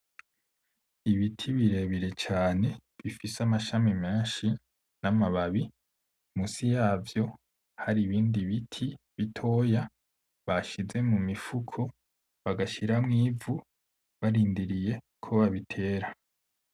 Ibiti birebire cane bifise amashami menshi n'amababi, munsi yavyo hari ibindi biti bitoya bashize mumifuko bagashiramwo ivu barindiriye ko babitera .